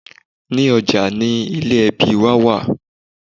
Ní ọjà ni ilé ẹbí wa wà